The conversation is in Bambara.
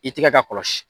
I tɛgɛ ka kɔlɔsi